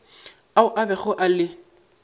ao a bego a le